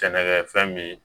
Sɛnɛkɛ fɛn min